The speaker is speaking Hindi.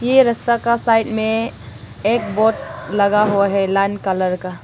ये रस्ता का साइड में एक बोर्ड लगा हुआ है लाल कलर का।